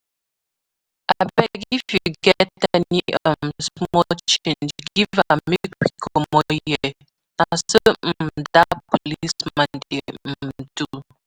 Abeg if you get any um small change give am make we comot here, na so um dat policeman dey um do